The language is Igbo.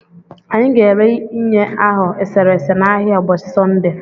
Anyị ga ere ịnye ahụ eserese na ahịa ụbọchị Sọnde